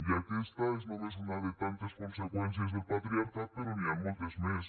i aquesta és només una de tantes conseqüències del patriarcat però n’hi han moltes més